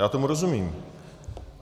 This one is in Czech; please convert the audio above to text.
Já tomu rozumím.